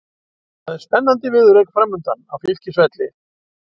Það er spennandi viðureign framundan á Fylkisvelli.